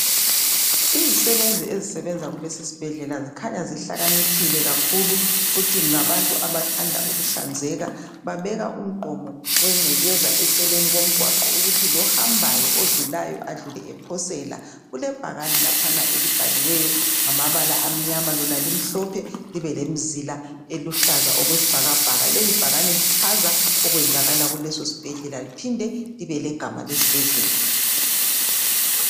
Izisebenzi ezisebenza kulesi sibhedlela zikhanya zihlakaniphile kakhulu futhi ngabantu abathanda ukuhlanzeka. Babeka umgqomo wengcekeza eceleni komgwaqo ukuthi lohambayo odlulayo, adlule ephosela. Kukebhakani laphana elibhaliweyo ngamabala amnyama lona limhlophe libe lemzila eluhlaza okwesibhakabhaka. Leli bhakane lichaza okwenzakala kuleso sibhedlela liphinde libe legama lesibhedlela.